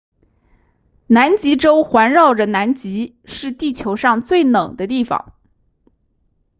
南极洲环绕着南极是地球上最冷的地方